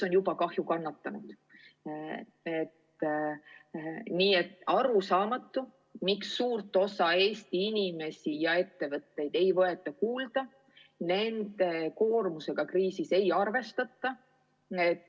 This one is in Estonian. On arusaamatu, miks suurt osa Eesti inimesi ja ettevõtteid ei võeta kuulda, miks nende koormusega kriisis ei arvestata.